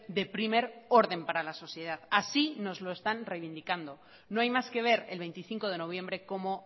de primer orden para la sociedad así nos lo están reivindicando no hay más que ver el veinticinco de noviembre como